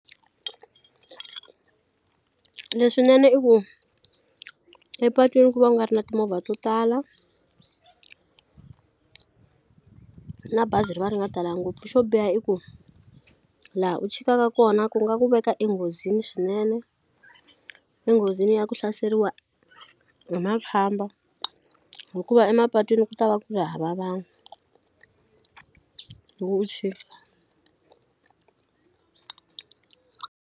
Leswinene i ku epatwini ku va ku nga ri na timovha to tala na bazi ri va ri nga talangi ngopfu xo biha i ku laha u chikaka kona ku nga ku veka enghozini swinene enghozini ya ku hlaseriwa hi makhamba hikuva emapatwini ku ta va ku ri hava vanhu loko u chika.